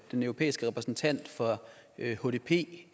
den europæiske repræsentant for hdp